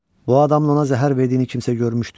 Bu adam ona zəhər verdiyini kimsə görmüşdü?